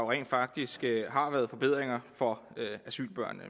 rent faktisk er kommet forbedringer for asylbørnene